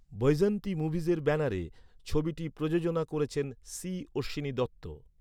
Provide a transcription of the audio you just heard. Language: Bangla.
বৈজয়ন্তী মুভিজের ব্যানারে, ছবিটি প্রযোজনা করেছেন সি অশ্বিনী দত্ত।